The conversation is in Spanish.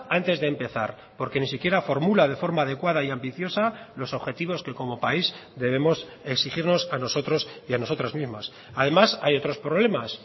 antes de empezar porque ni siquiera formula de forma adecuada y ambiciosa los objetivos que como país debemos exigirnos a nosotros y a nosotras mismas además hay otros problemas